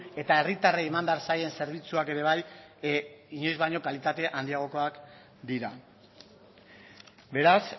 eta herritarrei eman behar zaien zerbitzuak ere bai inoiz baino kalitate handiagokoak dira beraz